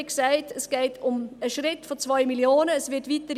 Wie gesagt, es geht um einen Schritt von 2 Mio. Franken.